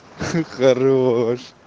хорош